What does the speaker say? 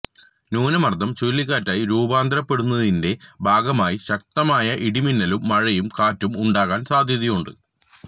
ന്യൂനമർദം ചുഴലിക്കാറ്റായി രൂപാന്തരപ്പെടുന്നതിന്റെ ഭാഗമായി ശക്തമായ ഇടിമിന്നലും മഴയും കാറ്റും ഉണ്ടാകാൻ സാധ്യതയുണ്ട്